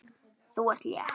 Þú ert létt!